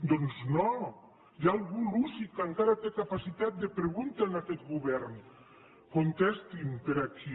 doncs no hi ha algú lúcid que encara té capacitat de pregunta en aquest govern contestin per aquí